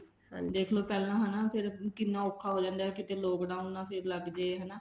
ਹਾਂਜੀ ਦੇਖਲੋ ਪਹਿਲਾਂ ਹਨਾ ਫ਼ੇਰ ਕਿੰਨਾ ਔਖਾ ਹੋ ਜਾਂਦਾ lockdown ਨਾ ਫ਼ੇਰ ਲੱਗ ਜੇ ਹਨਾ